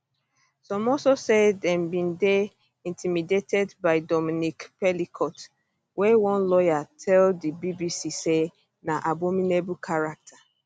some also say dem bin dey intimidated by dominique pelicot wey one lawyer tell di bbc say na abominable character